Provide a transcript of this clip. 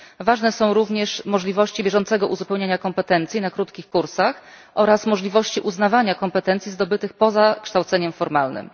Ważne są również możliwości bieżącego uzupełniania kompetencji na krótkich kursach oraz możliwości uznawania kompetencji zdobytych poza kształceniem formalnym.